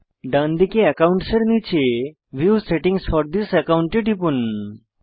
ডান দিকে একাউন্টস এর নীচে view settings for this account এ টিপুন